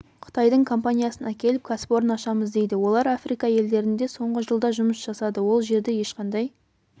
қытайдың компаниясын әкеліп кәсіпорын ашамыз дейді олар африка елдерінде соңғы жылда жұмыс жасады ол жерде ешқандай